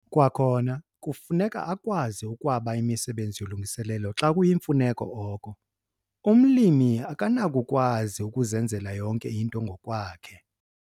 Kwakhona kufuneka akwazi ukwaba imisebenzi yolungiselelo xa kuyimfuneko oko, umlimi akanakukwazi ukuzenzela yonke into ngokwakhe.